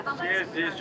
Sən hardasan?